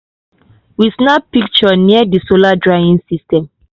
we snap team picture near di solar drying system.